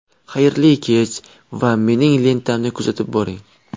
Xayrli kech va mening lentamni kuzatib boring.